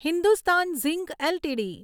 Hindustan zinc LTD